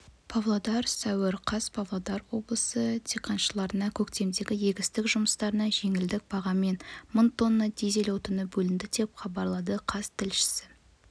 павлодар сәуір қаз павлодар облысы диқаншыларына көктемгі-егістік жұмыстарына жеңілдік бағамен мың тонна дизель отыны бөлінді деп хабарлады қаз тілшісі